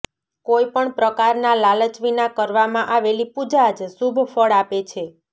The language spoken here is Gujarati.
કોઈપણ પ્રકારના લાલચ વિના કરવામાં આવેલી પૂજા જ શુભ ફળ આપે છે